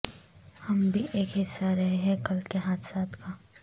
ہم بھی اک حصہ رہے ہیں کل کے حادثات کا